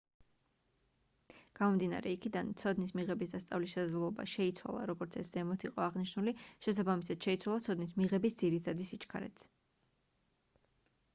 გამომდინარე იქიდან ცოდნის მიღების და სწავლის შესაძლებლობა შეიცვალა როგორც ეს ზემოთ იყო აღნიშნული შესაბამისად შეიცვალა ცოდნის მიღების ძირითადი სიჩქარეც